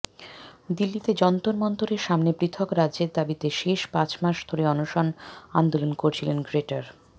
দিল্লিতে যন্তর মন্তরের সামনে পৃথক রাজ্যের দাবিতে শেষ পাঁচ মাস ধরে অনশন আন্দোলন করছিলেন গ্রেটার